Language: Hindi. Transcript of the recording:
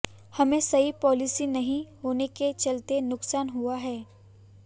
हमें सही पॉलिसी नहीं होने के चलते नुकसान हुआ है